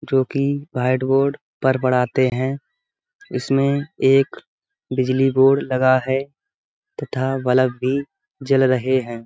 जोकि white board पर पढ़ाते है। इसमें एक बिजली बोर्ड लगा है तथा बलब भी जल रहे हैं।